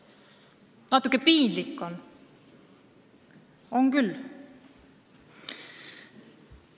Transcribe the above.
Natuke piinlik on!